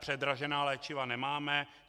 Předražená léčiva nemáme.